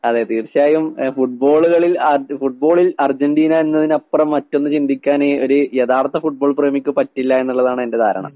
അതെ തീർച്ചയായും ഏഹ് ഫുട്ബോള്കളിൽ അർജ്‌ ഫുട്ബോളിൽ അർജന്റീന എന്നതിനപ്പറം മറ്റൊന്ന് ചിന്തിക്കാന് ഒര് യഥാർത്ഥ ഫുട്ബോൾ പ്രേമിക്ക് പറ്റില്ല എന്നിള്ളതാണെന്റെ ധാരണ.